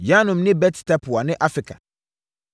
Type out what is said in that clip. Yanum ne Bet-Tapua ne Afeka,